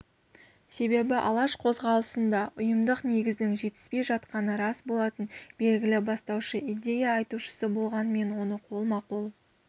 себебі алаш қозғалысында ұйымдық негіздің жетіспей жатқаны рас болатын белгілі бастаушысы идея айтушысы болғанмен оны қолма-қол